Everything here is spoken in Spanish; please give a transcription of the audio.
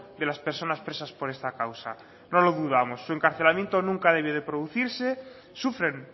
de las personas presas por esta causa no lo dudamos su encarcelamiento nunca debió de producirse sufren